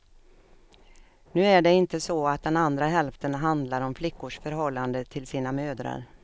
Nu är det inte så att den andra hälften handlar om flickors förhållande till sina mödrar.